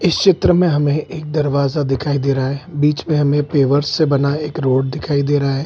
इस चित्र में हमें एक दरवाजा दिखाई दे रहा है। बीच में हमें पेवर्स से बना एक रोड दिख रहा है।